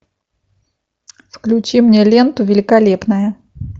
включи мне ленту великолепная